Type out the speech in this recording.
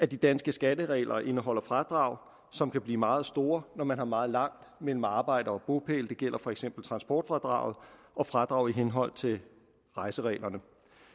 de danske skatteregler indeholder fradrag som kan blive meget store når man har meget langt mellem arbejde og bopæl det gælder for eksempel transportfradraget og fradrag i henhold til rejsereglerne